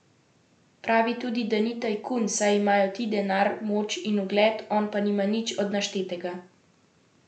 Pravi tudi, da ni tajkun, saj imajo ti denar, moč in ugled, on pa nima nič od naštetega.